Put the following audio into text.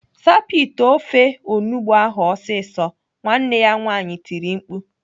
"Sapụ ite ofe onugbo ahụ ọsịsọ!" Nwanne ya nwaanyị tiri mkpu.